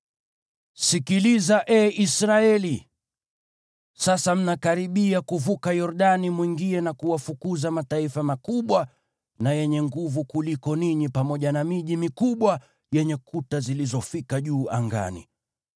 Sikiliza, ee Israeli. Sasa mnakaribia kuvuka Yordani mwingie na kuwafukuza mataifa makubwa na yenye nguvu kuliko ninyi pamoja na miji mikubwa yenye kuta zilizofika juu angani.